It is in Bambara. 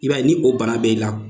I b'a ye ni o bana bɛ ila